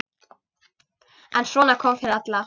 En svona kom fyrir alla.